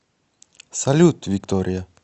салют виктория